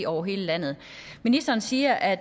over hele landet ministeren siger at